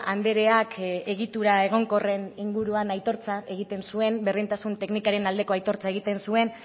andreak egitura egonkorren inguruan aitortza egiten zuen berdintasun teknikarien aldeko aitortza egiten zuen